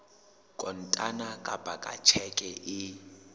kontane kapa ka tjheke e